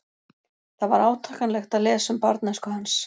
Það var átakanlegt að lesa um barnæsku hans.